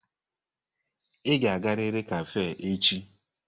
Ị ga-agariri kafé echi!